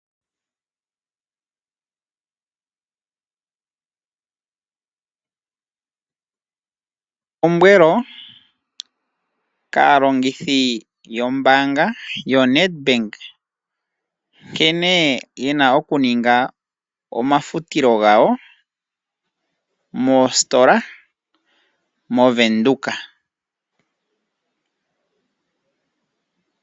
Elombwelo kaalongithi yombanga yaNedbank nkene ye na okuninga omafutilo gawo moositola moVenduka.